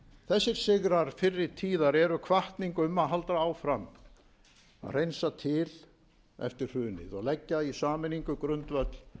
þessir sigrar fyrri tíðar eru hvatning um að halda áfram að hreinsa til eftir hrunið og leggja í sameiningu grundvöll